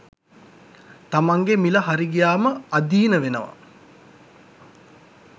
තමන්ගේ මිල හරි ගියාම අධීන වෙනවා